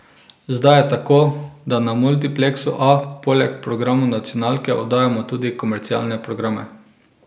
Zdaj je tako, da na multipleksu A poleg programov nacionalke oddajamo tudi komercialne programe.